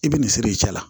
I bɛ nin siri i cɛ la